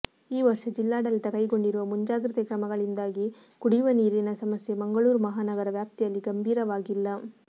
ಈ ವರ್ಷ ಜಿಲ್ಲಾಡಳಿತ ಕೈಗೊಂಡಿರುವ ಮುಂಜಾಗ್ರತೆ ಕ್ರಮಗಳಿಂದಾಗಿ ಕುಡಿಯುವ ನೀರಿನ ಸಮಸ್ಯೆ ಮಂಗಳೂರು ಮಹಾನಗರ ವ್ಯಾಪ್ತಿಯಲ್ಲಿ ಗಂಭೀರವಾಗಿಲ್ಲ